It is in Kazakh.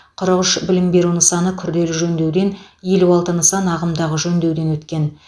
қырық үш білім беру нысаны күрделі жөндеуден елу алты нысан ағымдағы жөндеуден өткен